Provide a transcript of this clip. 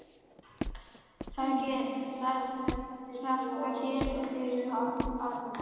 Þakka þér fyrir, Arnar.